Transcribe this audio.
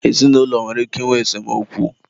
ezinụlọ nwere ike ịnwe esemokwu.